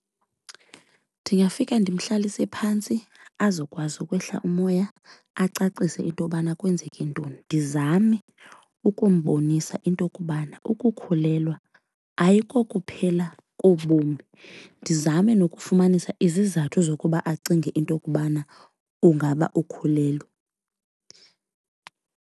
Ndingafika ndimhlalise phantsi azokwazi ukwehla umoya acacise intobana kwenzeke ntoni. Ndizame ukumbonisa into kobana ukukhulelwa ayikokuphela kobomi ndizame nokufumanisa izizathu zokuba acinge into kubana ungaba ukhulelwe.